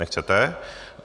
Nechcete.